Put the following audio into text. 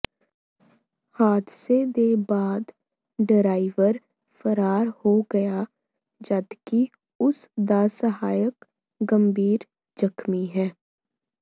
ਹਾਦਸੇ ਦੇ ਬਾਅਦ ਡਰਾਈਵਰ ਫਰਾਰ ਹੋ ਗਿਆ ਜਦਕਿ ਉਸ ਦਾ ਸਹਾਇਕ ਗੰਭੀਰ ਜ਼ਖਮੀ ਹੈ